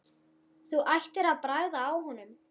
Þú ættir að bragða á honum